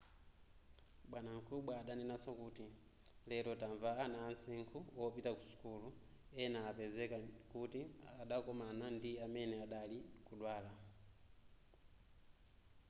bwanamkubwa adanenaso kuti lero tamva ana amsinkhu wopita ku sukulu ena apezeka kuti adakomana ndi amene adali kudwala